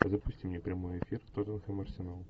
запусти мне прямой эфир тоттенхэм арсенал